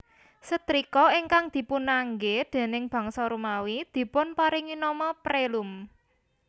Setrika ingkang dipunanggé déning bangsa Romawi dipunparingi nama Prelum